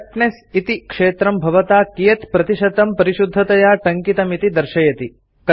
correctness इति क्षेत्रं भवता कियत् प्रतिशतं परिशुद्धतया टङ्कितमिति दर्शयति